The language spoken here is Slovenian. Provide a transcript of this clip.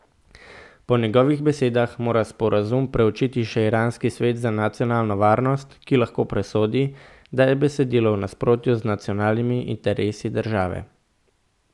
Po njegovih besedah mora sporazum preučiti še iranski svet za nacionalno varnost, ki lahko presodi, da je besedilo v nasprotju z nacionalnimi interesi države.